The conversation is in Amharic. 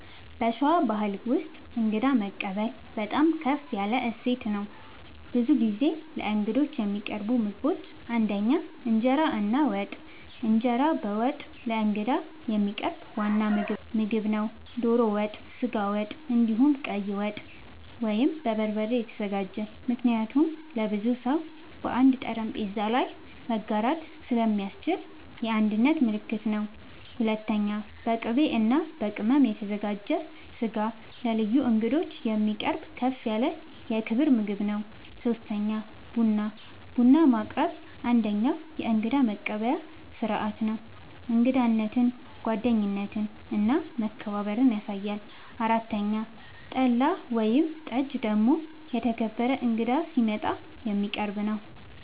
በሸዋ ባሕል ውስጥ እንግዳ መቀበል በጣም ከፍ ያለ እሴት ነው። ብዙ ጊዜ ለእንግዶች የሚቀርቡ ምግቦች ፩) እንጀራ እና ወጥ፦ እንጀራ በወጥ ለእንግዳ የሚቀርብ ዋና ምግብ ነው። ዶሮ ወጥ፣ ስጋ ወጥ፣ እንዲሁም ቀይ ወጥ( በበርበሬ የተዘጋጀ) ምክንያቱም ለብዙ ሰው በአንድ ጠረጴዛ ላይ መጋራት ስለሚያስችል የአንድነት ምልክት ነው። ፪.. በቅቤ እና በቅመም የተዘጋጀ ስጋ ለልዩ እንግዶች የሚቀርብ ከፍ ያለ የክብር ምግብ ነው። ፫. ቡና፦ ቡና ማቅረብ አንደኛዉ የእንግዳ መቀበያ ስርዓት ነው። እንግዳነትን፣ ጓደኝነትን እና መከባበርን ያሳያል። ፬ .ጠላ ወይም ጠጅ ደግሞ የተከበረ እንግዳ ሲመጣ የሚቀረብ ነዉ